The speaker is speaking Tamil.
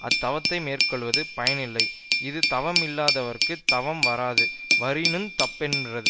அத்தவத்தை மேற்கொள்வது பயனில்லை இது தவமிலார்க்குத் தவம் வாராது வரினுந் தப்புன்றது